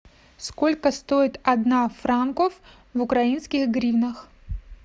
сколько стоит одна франков в украинских гривнах